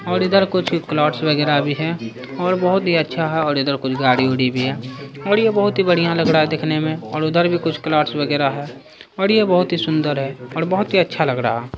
और इधर कूछ क्लाउड्स वगैरह भी है और बहुत ही अच्छा है और इधर कुछ गाड़ी उडी भी है और ये बहुत ही बढ़िया लग रहा है देखने में और उधर भी कुछ क्लाउड्स वगैरह है और यह बहुत ही सुन्दर है और बहुत ही अच्छा लग रहा है ।